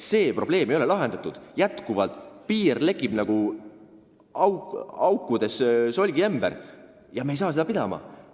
See probleem ei ole lahendatud, meie piir lekib nagu aukudega solgiämber ja me ei saa seda pidama.